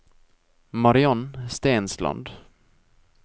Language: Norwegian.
Mariann Stensland